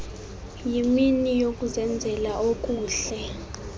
yimini yokuzenzela okuhle